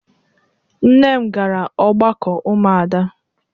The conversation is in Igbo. Nne m gara ọgbakọ ụmụada.